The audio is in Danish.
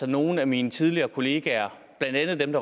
at nogle af mine tidligere kolleger blandt andet